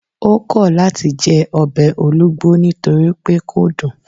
O kọ lati jẹ ọbẹ olugbo nitori pe kò dun